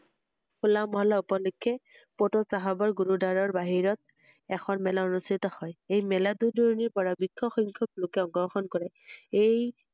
হোল্লা মহল্লা উপলক্ষে প্ৰতু চাহাবৰ গুৰু দ্বাৱাৰৰ বাহিৰত এখন মেলা অনুস্ঠিত হয়৷এই মেলাত দূৰ দুৰণিৰ পৰা বৃক্ষ সংখ্যক লোকে অংশ গ্ৰহণ কৰে এই